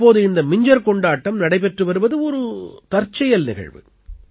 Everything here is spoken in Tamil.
தற்போது இந்த மிஞ்ஜர் கொண்டாட்டம் நடைபெற்று வருவது ஒரு தற்செயல் நிகழ்வு